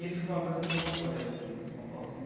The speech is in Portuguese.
Isso foi uma coisa que me marcou, aliás, aqui em São Paulo assim.